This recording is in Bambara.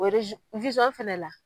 O fɛnɛ la